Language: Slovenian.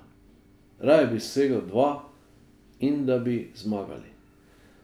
Raje bi dosegel dva in da bi zmagali.